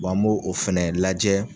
an b'o o fɛnɛ lajɛ